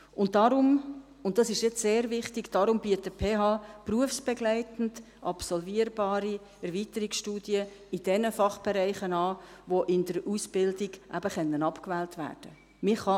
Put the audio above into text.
Und deshalb – und das ist jetzt sehr wichtig – bietet die PH berufsbegleitend absolvierbare Erweiterungsstudien in jenen Fachbereichen an, die in der Ausbildung eben abgewählt werden können.